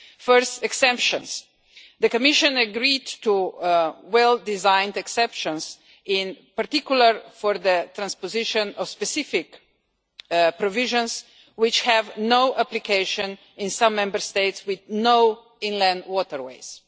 First, on exemptions, the Commission agreed to well designed exceptions, in particular for the transposition of specific provisions that have no application in some Member States which have no inland waterways.